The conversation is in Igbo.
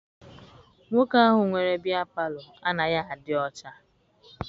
Nwoke ahụ nwere bịya palọ anaghị adị ọcha.